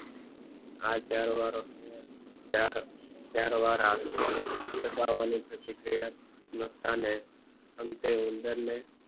આ ચાર વખતમાં ચાર ચાર દબાવાની પ્રતિક્રિયા કરતા ને અંતે ઉંદરને